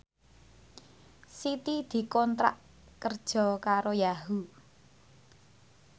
Siti dikontrak kerja karo Yahoo!